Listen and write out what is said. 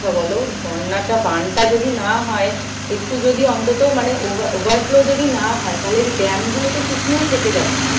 বলো? বন্যাটা বানটা যদি না হয় একটু যদি অন্তত মানে over overflow যদি না হয় তালে dam গুলো তো শুকনোই থেকে যাচ্ছে।